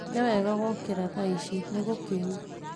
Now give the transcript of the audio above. Nĩ wega gũũkĩra tha ici, nĩ gũkĩu